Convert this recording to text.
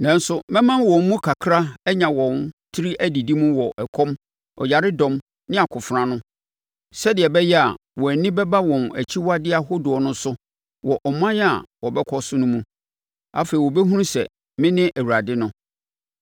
Nanso mɛma wɔn mu kakra anya wɔn tiri adidi mu wɔ ɔkɔm, ɔyaredɔm ne akofena ano, sɛdeɛ ɛbɛyɛ a wɔn ani bɛba wɔn akyiwadeɛ ahodoɔ no so wɔ aman a wɔbɛkɔ so no mu. Afei wɔbɛhunu sɛ me ne Awurade no.”